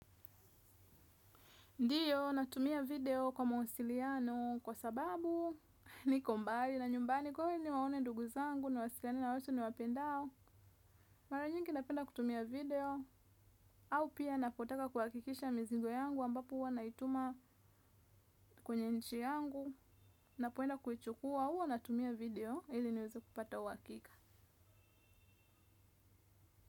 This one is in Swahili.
Ndiyo, natumia video kwa mawasiliano kwa sababu niko mbari na nyumbani kwawe ni waone dugu zangu, ni wasikani na osu ni wapendao. Mara nyingi napenda kutumia video, au pia napotaka kuwakikisha mizigo yangu ambapo uwa naituma kwenye nchi yangu. Napoenda kuichukua, uwa natumia video, ili niwezi kupata uwakika.